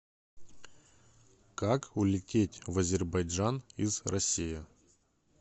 как улететь в азербайджан из россии